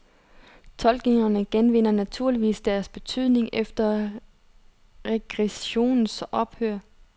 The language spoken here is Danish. Tolkningerne genvinder naturligvis deres betydning efter regressionens ophør.